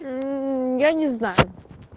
мм я не знаю